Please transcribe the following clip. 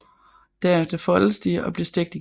Derefter foldes de og bliver stegt igen